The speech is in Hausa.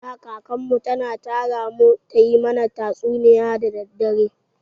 Da, kakan mu kan tara mu ta yi mana tatsuniya da dare.